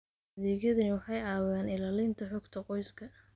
Adeegyadani waxay caawiyaan ilaalinta xogta qoyska.